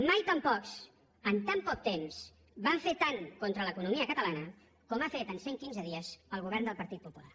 mai tan pocs en tant poc temps van fer tant contra l’economia catalana com ha fet en cent quinze dies el govern del partit popular